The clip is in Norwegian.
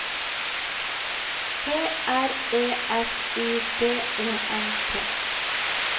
P R E S I D E N T